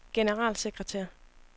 generalsekretær